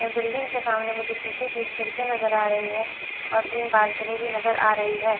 Building के सामने मुझे शीशे की खिड़की नजर आ रही है और तीन बालकनी भी नजर आ रही है।